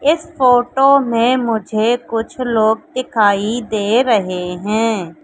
इस फोटो में मुझे कुछ लोग दिखाई दे रहे हैं।